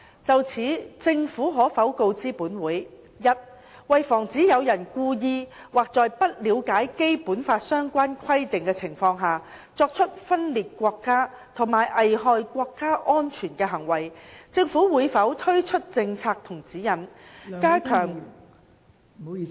就此，政府可否告知本會：一為防止有人故意或在不了解《基本法》相關規定的情況下，作出分裂國家和危害國家安全的行為，政府會否推出政策及指引，加強......